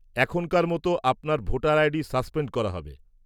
-এখনকার মতো আপনার ভোটার আইডি সাসপেন্ড করা হবে।